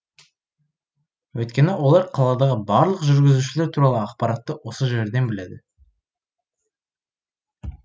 өйткені олар қаладағы барлық жүргізушілер туралы ақпаратты осы жерден біледі